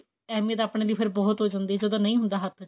ਐਵੇਂ ਤਾਂ ਆਪਣੇ ਲਈ ਫੇਰ ਬਹੁਤ ਹੋ ਜਾਂਦੀ ਐ ਜਦੋਂ ਨਹੀਂ ਹੁੰਦਾ ਹੱਥ ਚ